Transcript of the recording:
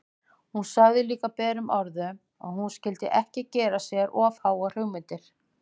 Hún sagði líka berum orðum að hann skyldi ekki gera sér of háar hugmyndir!